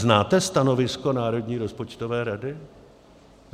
Znáte stanovisko Národní rozpočtové rady?